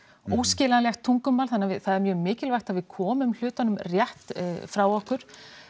óskiljanlegt tungumál þannig að það er mjög mikilvægt að við komum hlutunum rétt frá okkur